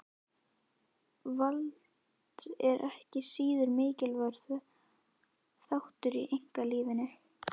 Vald er ekki síður mikilvægur þáttur í einkalífinu.